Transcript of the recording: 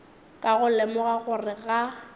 ka go lemoga gore ga